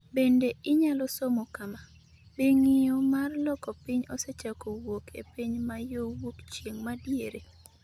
Bende inyalo somo kama: Be ng’iyo mar loko piny osechako wuok e piny ma yo wuok chieng’ ma diere?